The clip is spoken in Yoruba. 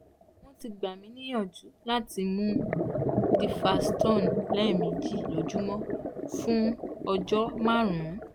wọ́n ti gbà mí níyànjú láti mú duphaston lẹ́ẹ̀méjì lójúmọ́ fún ọjọ́ márùn-ún